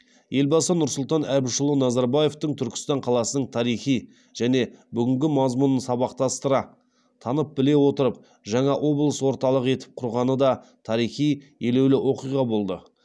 елбасы нұрсұлтан әбішұлы назарбаевтың түркістан қаласының тарихи және бүгінгі мазмұнын сабақтастыра танып біле отырып жаңа облыс орталығы етіп құрғаны да тарихи елеулі оқиға болды